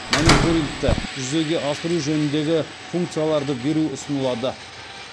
мониторингті жүзеге асыру жөніндегі функцияларды беру ұсынылады